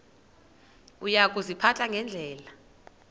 uya kuziphatha ngendlela